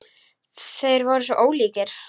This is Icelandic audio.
Þeir voru svo ólíkir.